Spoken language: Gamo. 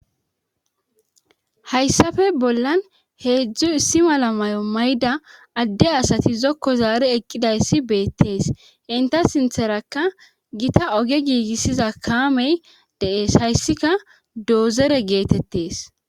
hayssafe bollan heedzdzu issi mala mayo mayida adde asati zokko zaare eqqidayssi beettees inta sintherakka gita oge giigissiza kaamey de'es hayssika doozore geetettees